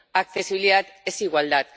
accesibilidad es igualdad